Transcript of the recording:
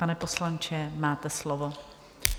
Pane poslanče, máte slovo.